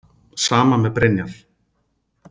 Sama með Brynjar.